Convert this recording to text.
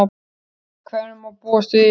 Við hverju má búast í sumar?